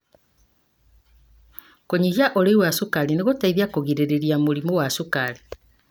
Kũnyihia ũriĩ wa cukari nĩ gũteithagia kũgirĩrĩria mũrimũ wa cukari.